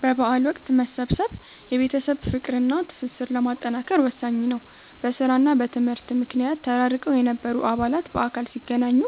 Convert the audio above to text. በበዓል ወቅት መሰብሰብ የቤተሰብን ፍቅርና ትስስር ለማጠናከር ወሳኝ ነው። በሥራና በትምህርት ምክንያት ተራርቀው የነበሩ አባላት በአካል ሲገናኙ